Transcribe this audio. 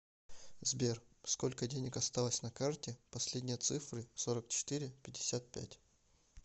сбер сколько денег осталось на карте последние цифры сорок четыре пятьдесят пять